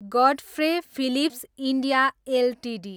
Godfrey Phillips India Ltd